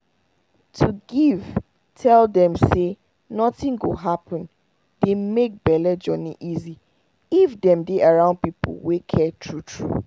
to give tell dem say nothing go happen dey make bele journey easy if dem dey around people wey care true true